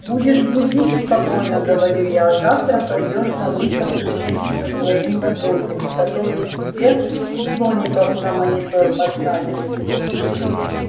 будешь грубить спокойно говорю я завтра пойдёшь на выставку вместе со своими бабульками которые тебе слоников на монитор поставили